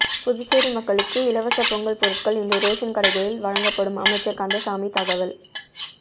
புதுச்சேரி மக்களுக்கு இலவச பொங்கல் பொருட்கள் இன்று ரேஷன் கடைகளில் வழங்கப்படும் அமைச்சர் கந்தசாமி தகவல்